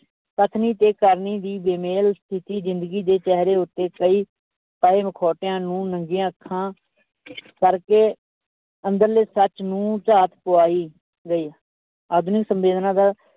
ਕਥਨੀ ਤੇ ਕਰਨੀ ਦੀ ਵਿਮੇਲ ਸਥਿੱਤੀ ਜ਼ਿੰਦਗੀ ਦੇ ਚਿਹਰੇ ਉੱਤੇ ਪਾਏ ਮਖੋਟਿਆਂ ਨੂੰ ਨੰਗੀਆਂ ਅੱਖਾਂ ਕਰਕੇ ਅੰਦਰਲੇ ਸੱਚ ਨੂੰ ਝਾਤ ਪਵਾਈ ਗਈ, ਆਧੁਨਿਕ ਸੰਵੇਦਨਾ ਦਾ